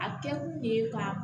A kɛ kun ye ka